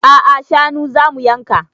A'a shanu zamu yanka